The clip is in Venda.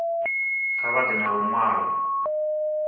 kha vha ḓe na luṅwalo